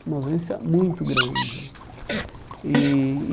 Uma ausência muito grande. E